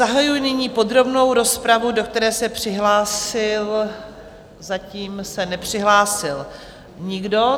Zahajuji nyní podrobnou rozpravu, do které se přihlásil... zatím se nepřihlásil nikdo.